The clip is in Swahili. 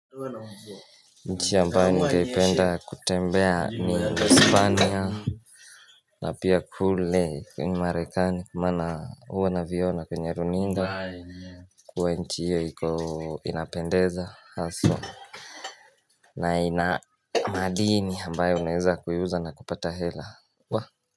Nchi ambayo ningependa kutembea ni uhispania na pia kule marekani kwa maana huwa na viona kwenye runinga kuwa nchi hiyo iko inapendeza haswa na ina madini ambayo unaweza kuiuza na kupata hela.